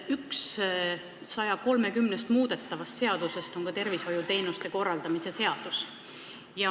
Üks 130-st muudetavast seadusest on tervishoiuteenuste korraldamise seadus.